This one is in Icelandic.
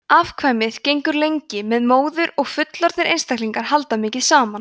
afkvæmið gengur lengi með móður og fullorðnir einstaklingar halda mikið saman